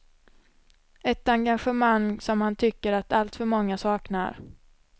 Ett engagemang som han tycker att alltför många saknar.